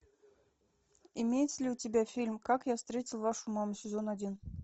имеется ли у тебя фильм как я встретил вашу маму сезон один